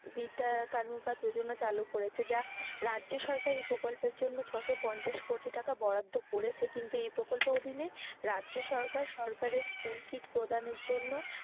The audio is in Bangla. বিদ্যা কানুকা যোজনা চালু করেছে যা রাজ্য সরকার এই প্রকল্পের জন্য ছশো পঞ্চাশ কোটি টাকা বরাদ্ধ করেছে কিন্তু এই প্রকল্পের অধীনে রাজ্য সরকারের school kit প্রদানের জন্য,